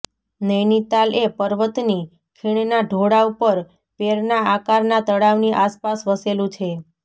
નૌનિતાલ એ પર્વતની ખીણના ઢોળાવ પર પેરના આકારના તળાવની આસપાસ વસેલું છે